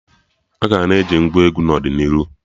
Aga na-eji Ngwá egwu n'ọdịnihu